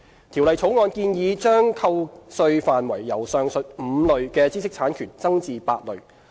《條例草案》建議把扣稅範圍由上述5類知識產權增至8類。